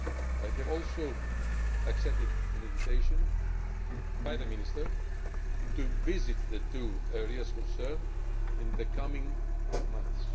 I have also accepted an invitation from the Minister to visit the two areas concerned in the coming months.